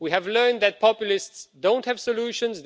We have learned that populists don't have solutions